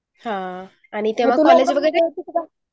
हान